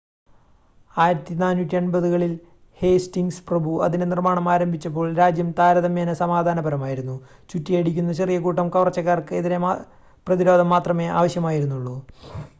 1480-കളിൽ Hastings പ്രഭു അതിൻ്റെ നിർമ്മാണം ആരംഭിച്ചപ്പോൾ രാജ്യം താരതമ്യേന സമാധാനപരമായിരുന്നു ചുറ്റിയടിക്കുന്ന ചെറിയ കൂട്ടം കവർച്ചക്കാർക്ക് എതിരെ പ്രതിരോധം മാത്രമേ ആവശ്യമായിരുന്നുള്ളൂ